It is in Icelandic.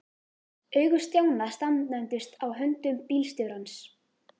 Augu Stjána staðnæmdust á höndum bílstjórans.